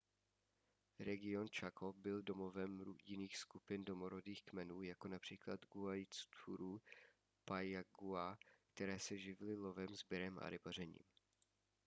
region chaco byl domovem jiných skupin domorodých kmenů jako například guaycurú a payaguá které se živily lovem sběrem a rybařením